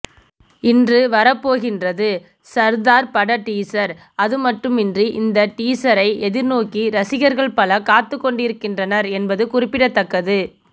இன்று வரப்போகின்றது சர்தார் பட டீசர் அதுமட்டுமின்றி இந்த டீசரை எதிர்நோக்கி ரசிகர்கள் பலர் காத்துக்கிடக்கின்றனர் என்பது குறிப்பிடத்தக்கது